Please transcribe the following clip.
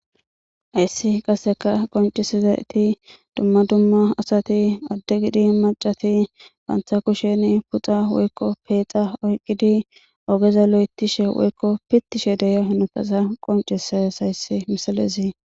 Hayssi qasseka qoncisizayti duma duma asati added gidin maccati banita kusheni puxa woyikko peexa oyiqidi ogeza loyitishe woykko pittishe de'iya hanotaza qoncises hayssi misilezi.